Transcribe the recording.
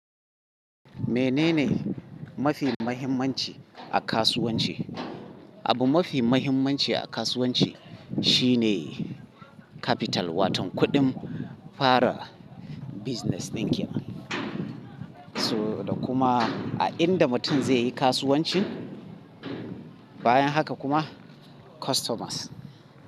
Menene mafi muhimmanci a kasuwanci? Abu mafi muhimmanci a kasuwanci shine capital, waton kuɗin fara business ɗin kenan. So da kuma a inda mutum zai yi kasuwanci, bayan haka kuma customers.